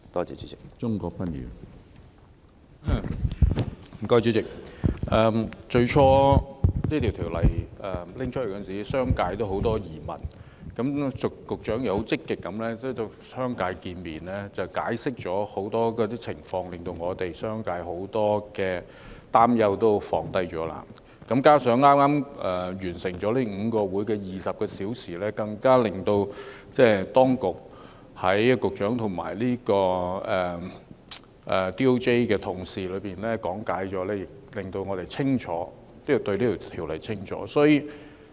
主席，政府最初提出《條例草案》時，商界有很多疑問，局長積極地與商界見面，解釋了很多情況，令我們商界很多擔憂都能紓解；加上剛剛完成了5個共20小時會議，當局及律政司的同事講解，亦令我們更清楚《條例草案》的內容。